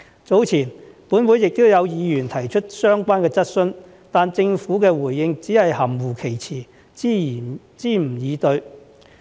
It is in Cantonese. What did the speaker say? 早前，本會亦有議員提出相關質詢，但政府的回應只是含混其詞，支吾以對。